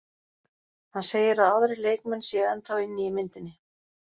Hann segir að aðrir leikmenn séu ennþá inni í myndinni.